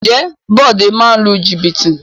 Ǹjẹ́ Bode máa ń lu jìbìtì?